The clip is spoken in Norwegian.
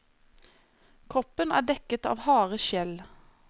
Kroppen er dekket av harde skjell.